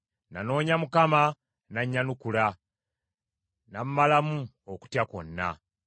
Nanoonya Mukama , n’annyanukula; n’ammalamu okutya kwonna.